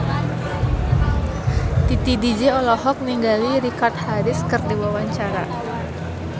Titi DJ olohok ningali Richard Harris keur diwawancara